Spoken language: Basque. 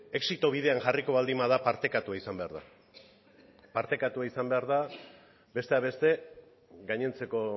exito bidean jarriko baldin bada partekatu izan behar da partekatu izan behar da besteak beste gainontzeko